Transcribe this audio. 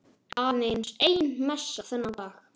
Aðeins ein messa þennan dag.